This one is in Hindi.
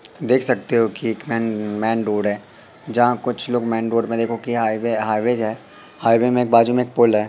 देख सकते हो कि एक मेन रोड है जहां कुछ लोग मेन रोड मे देखो कि हाईवे हाईवेज है हाईवे में बाज़ू में एक पोल है।